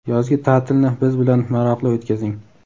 Yozgi ta’tilni biz bilan maroqli o‘tkazing!.